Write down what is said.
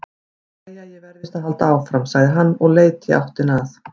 Jæja, ég verð víst að halda áfram, sagði hann og leit í áttina að